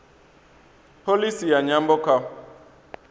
pholisi ya nyambo kha